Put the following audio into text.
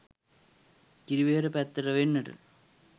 කිරිවෙහෙර පැත්තට වෙන්නට